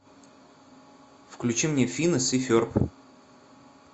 включи мне финес и ферб